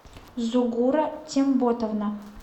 зугура темботовна